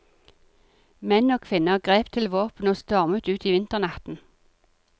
Menn og kvinner grep til våpen og stormet ut i vinter natten.